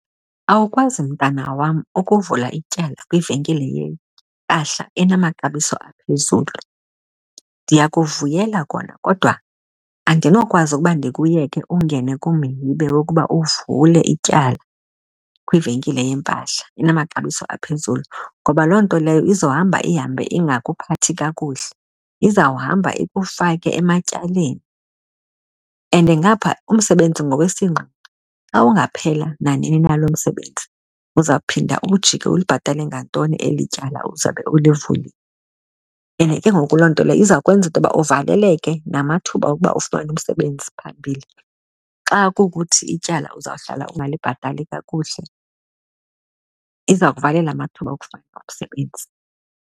Awukwazi, mntana wam, ukuvula ityala kwivenkile yempahla enamaxabiso aphezulu. Ndiyakuvuyela kona kodwa andinokwazi ukuba ndikuyeke ungene kumhibe wokuba uvule ityala kwivenkile yempahla enamaxabiso aphezulu, ngoba loo nto leyo izohamba ihambe ingakuphathi kakuhle. Izawuhamba ikufake ematyaleni and ngaphaa umsebenzi ngowesinqa, xa ungaphela nanini na lo msebenzi uzawuphinda ujike ulibhatale ngantoni eli tyala uzawube ulivulile. And ke ngoku loo nto leyo izawukwenza uba uvaleleke namathuba okuba ufumene umsebenzi phambili. Xa kukuthi ityala uzawuhlala ungayibhatali kakuhle iza kuvalela amathuba okufumana omsebenzi.